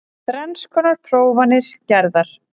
Þrenns konar prófanir gerðar